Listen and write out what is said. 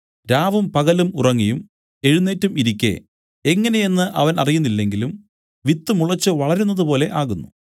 രാവും പകലും ഉറങ്ങിയും എഴുന്നേറ്റും ഇരിക്കെ എങ്ങനെയെന്ന് അവൻ അറിയുന്നില്ലെങ്കിലും വിത്ത് മുളച്ചു വളരുന്നതുപോലെ ആകുന്നു